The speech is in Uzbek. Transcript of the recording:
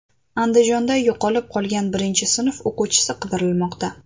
Andijonda yo‘qolib qolgan birinchi sinf o‘quvchisi qidirilmoqda.